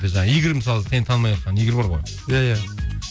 жаңағы игорь мысалы сені танымай отқан игорь бар ғой иә иә